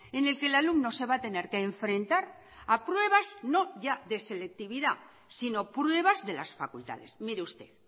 en el que el alumno se va a tener que enfrentar a pruebas no ya de selectividad si no pruebas de las facultades mire usted